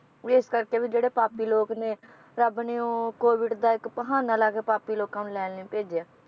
ਵੀ ਇਸ ਕਰਕੇ ਵੀ ਜਿਹੜੇ ਪਾਪੀ ਲੋਕ ਨੇ, ਰੱਬ ਨੇ ਉਹ COVID ਦਾ ਇੱਕ ਬਹਾਨਾ ਲਾ ਕੇ ਪਾਪੀ ਲੋਕਾਂ ਨੂੰ ਲੈਣ ਲਈ ਭੇਜਿਆ